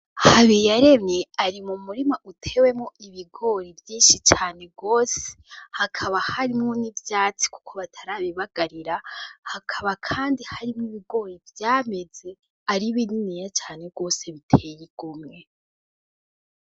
Habiyaremye ari mu murima utewemwo ibigori vyinshi cane gose, hakaba harimwo n'ivyatsi kuko batarabibagarira, hakaba kandi harimwo ibigori vyameze ari bininiya cane gose biteye igomwe.